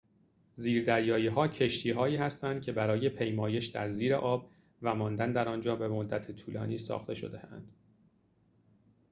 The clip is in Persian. زیردریایی‌ها کشتی‌هایی هستند که برای پیمایش در زیر آب و ماندن در آنجا به مدت طولانی ساخته شده‌اند